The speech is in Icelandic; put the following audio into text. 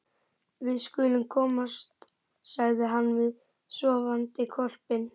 Við skulum komast, sagði hann við sofandi hvolpinn.